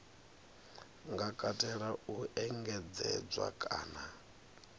nga katela u engedzedzwa kana